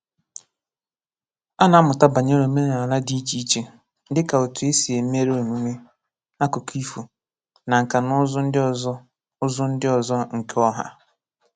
Á nà-ámụta bànyéré omenala dị iche iche, dịka otú e sì èméré émúmé, ákụkọ ifo, na nka na ụzu ndị ọzọ ụzu ndị ọzọ nke ọha.